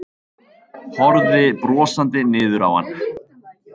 Horfði brosandi niður á hann.